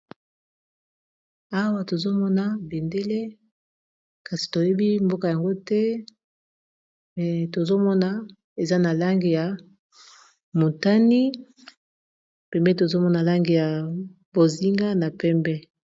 Awa tozomona bendele kasi toyebi mboka yango te me tozomona eza na lange ya motani, pembe, tozomona lange ya bozinga na pembe.